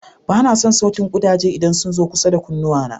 Ba na son sautin ƙudaje idan sun zo kusa da kunnuwana.